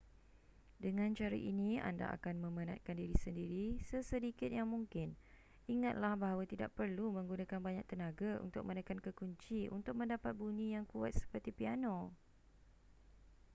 dengan cara ini anda akan memenatkan diri sendiri sesedikit yang mungkin ingatlah bahawa tidak perlu menggunakan banyak tenaga untuk menekan kekunci untuk mendapat bunyi yang kuat seperti piano